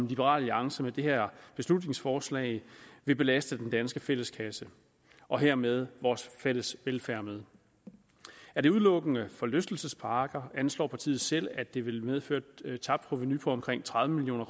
liberal alliance med det her beslutningsforslag vil belaste den danske fælleskasse og hermed vores fælles velfærd med er det udelukkende forlystelsesparker anslår partiet selv at det vil medføre et tabt provenu på omkring tredive million